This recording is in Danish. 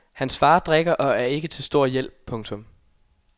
Hans fader drikker og er ikke til stor hjælp. punktum